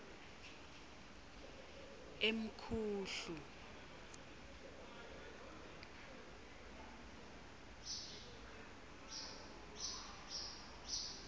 emkhuhlu